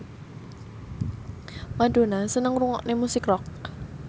Madonna seneng ngrungokne musik rock